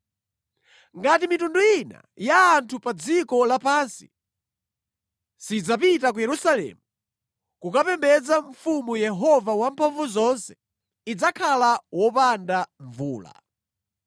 Ngati mitundu ina ya anthu pa dziko lapansi sidzapita ku Yerusalemu kukapembedza Mfumu Yehova Wamphamvuzonse, idzakhala wopanda mvula.